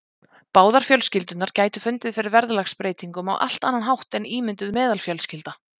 Báðar fjölskyldurnar gætu fundið fyrir verðlagsbreytingum á allt annan hátt en ímynduð meðalfjölskylda.